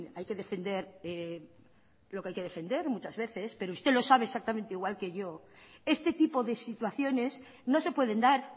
hay que defender lo que hay que defender muchas veces pero usted lo sabe exactamente igual que yo este tipo de situaciones no se pueden dar